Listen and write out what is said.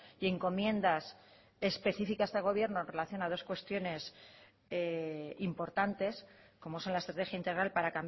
y encomiendas especificas de gobierno en relación a dos cuestiones importantes como son la estrategia integral para